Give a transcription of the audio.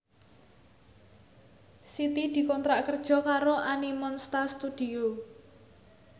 Siti dikontrak kerja karo Animonsta Studio